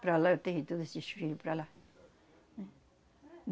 Para lá, eu tenho todos esses filhos para lá.